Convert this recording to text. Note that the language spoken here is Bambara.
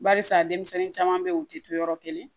Barisa denmisɛnnin caman be yen u ti to yɔrɔ kelen